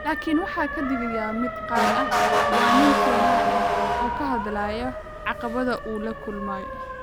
Laakin waxa ka dhigaya mid gaar ah, waa nin Kenyan ah oo ka hadlaya caqabadda uu la kulmay.